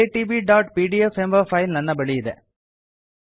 iitbಪಿಡಿಎಫ್ ಎಂಬ ಫೈಲ್ ನನ್ನ ಬಳಿ ಇದೆ